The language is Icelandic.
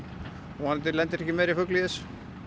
vonandi lendir ekki meiri fugl í þessu